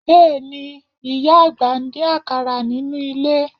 Bẹ́ẹ̀ni, ìyá àgbà ń dín àkàrà nínú ilé